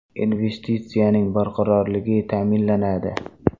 Investitsiyaning barqarorligi ta’minlanadi.